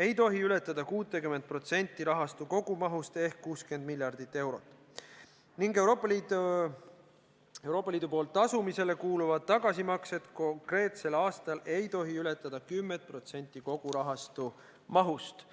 ei tohi ületada 60% rahastu kogumahust ehk 60 miljardit eurot ning Euroopa Liidu poolt tasumisele kuuluvad tagasimaksed konkreetsel aastal ei tohi ületada 10% kogu rahastu mahust.